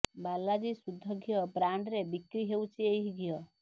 ବାଲାଜୀ ଶୁଦ୍ଧ ଘିଅ ବ୍ରାଣ୍ଡରେ ବିକ୍ରି ହେଉଛି ଏହି ଘିଅ